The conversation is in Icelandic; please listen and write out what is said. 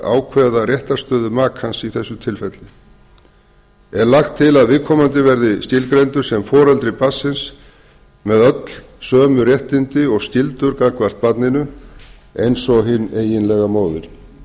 ákveða réttarstöðu makans í þessu tilfelli er lagt til að viðkomandi verði skilgreindur sem foreldri barnsins með öll sömu réttindi og skyldur gagnvart barninu eins og hin eiginlega móðir